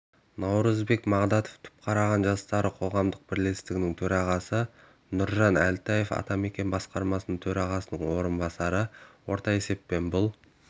наурызбек мағдатов түпқараған жастары қоғамдық бірлестігінің төрағасы нұржан әлтаев атамекен басқарма төрағасының орынбасары орта есеппен бұл